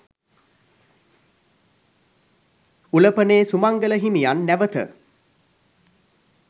උලපනේ සුමංගල හිමියන් නැවත